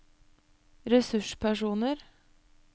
ressurspersoner